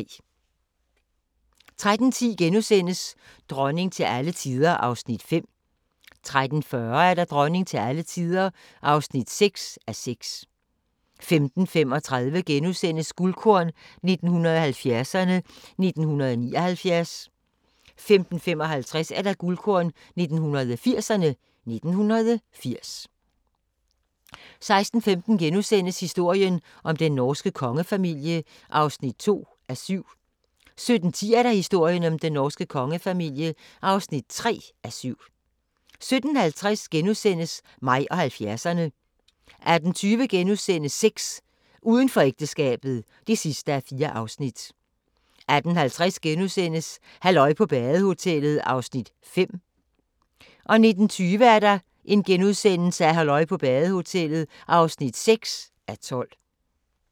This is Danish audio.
13:10: Dronning til alle tider (5:6)* 13:40: Dronning til alle tider (6:6) 15:35: Guldkorn 1970'erne: 1979 * 15:55: Guldkorn 1980'erne: 1980 16:15: Historien om den norske kongefamilie (2:7)* 17:10: Historien om den norske kongefamilie (3:7) 17:50: Mig og 70'erne * 18:20: Sex: Uden for ægteskabet (4:4)* 18:50: Halløj på badehotellet (5:12)* 19:20: Halløj på badehotellet (6:12)*